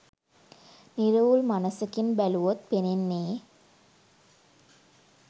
නිරවුල් මනසකින් බැලුවොත් පෙනෙන්නේ